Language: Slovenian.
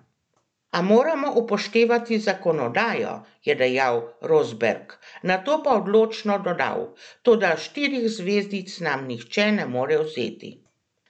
A moram upoštevati zakonodajo," je dejal Rosberg, nato pa odločno dodal: "Toda štirih zvezdic nam nihče ne more vzeti.